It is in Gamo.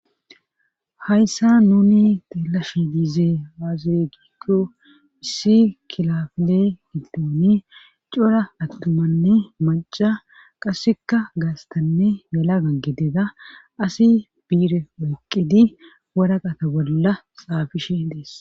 hayssa nuni teelashe diize haazire giikko hissi kilafle gildooni cora attumanne maca qasseka gaastanne yala ggidida asi biire waqqidi wora qata bolla xaafishe dees